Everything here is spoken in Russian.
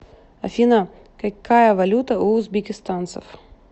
афина какая валюта у узбекистанцев